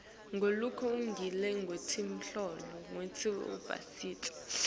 ngalokulungile ngekwetinhloso tekusebentisa